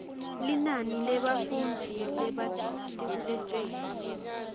linani lebafundzi bamatikuletjeni